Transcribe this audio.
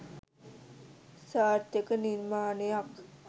සාර්ථක නිර්මාණයක්